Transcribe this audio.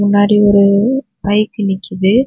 முன்னாடி ஒரு பைக் நிக்குது.